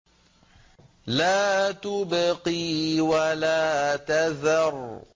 لَا تُبْقِي وَلَا تَذَرُ